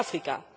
In Sudafrica?